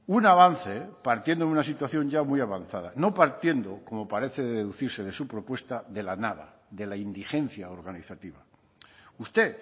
un avance partiendo de una situación ya muy avanzada no partiendo como parece deducirse de su propuesta de la nada de la indigencia organizativa usted